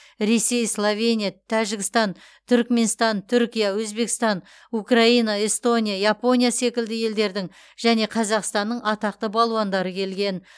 ресей словения тәжікстан түрікменстан түркия өзбекстан украина эстония япония секілді елдердің және қазақстанның атақты балуандары келген